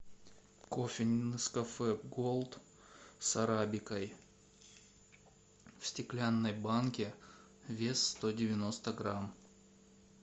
кофе нескафе голд с арабикой в стеклянной банке вес сто девяносто грамм